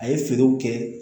A ye feerew kɛ